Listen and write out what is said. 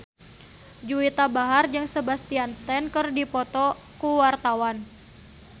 Juwita Bahar jeung Sebastian Stan keur dipoto ku wartawan